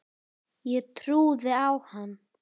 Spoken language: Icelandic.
Ég trúði á hann.